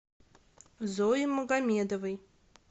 зои магомедовой